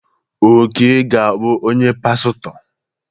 Oke ga-abụ onye pastọ.